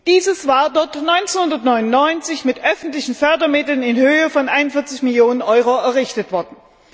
Dieses war dort 1999 mit öffentlichen Fördermitteln in Höhe von 41 Millionen EUR errichtet worden.